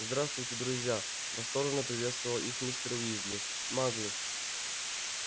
здравствуйте друзья восторженно приветствовал их мистер уизли маглы